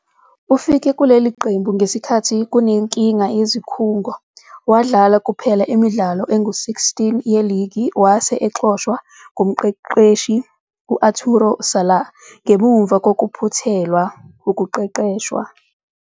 Ufike kuleli qembu ngesikhathi kunenkinga yezikhungo, wadlala kuphela imidlalo engu-16 yeligi wase exoshwa ngumqeqeshi u-Arturo Salah ngemuva kokuphuthelwa wukuqeqeshwa.